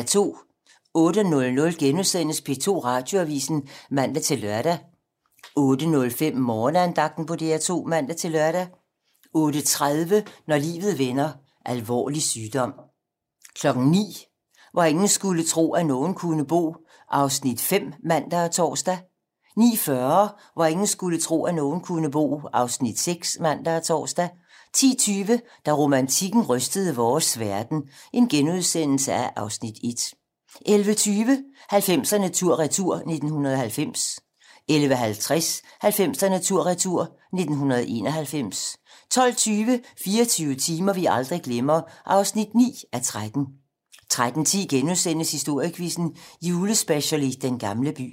08:00: P2 Radioavisen *(man-lør) 08:05: Morgenandagten på DR2 (man-lør) 08:30: Når livet vender: Alvorlig sygdom 09:00: Hvor ingen skulle tro, at nogen kunne bo (Afs. 5)(man og tor) 09:40: Hvor ingen skulle tro, at nogen kunne bo (Afs. 6)(man og tor) 10:20: Da romantikken rystede vores verden (Afs. 1)* 11:20: 90'erne tur-retur: 1990 11:50: 90'erne tur-retur: 1991 12:20: 24 timer, vi aldrig glemmer (9:13) 13:10: Historiequizzen - Julespecial i Den gamle by *